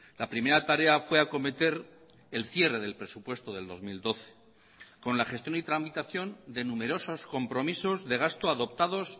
la primera tarea fue acometer el cierre del presupuesto del dos mil doce con la gestión y tramitación de numerosos compromisos de gasto adoptados